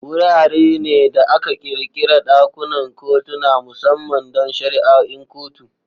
Wurare ne da aka ƙirƙira ɗakunan kotuna musamman don shari'o'in kotu.